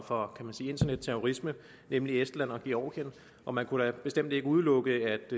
for internetterrorisme nemlig estland og georgien og man kunne da bestemt ikke udelukke